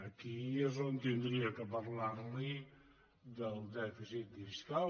aquí és on hauria de parlar li del dèficit fiscal